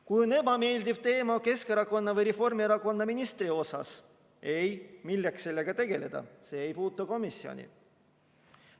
Kui on ebameeldiv teema Keskerakonna või Reformierakonna ministri suhtes – ei, milleks sellega tegeleda, see ei puutu komisjoni.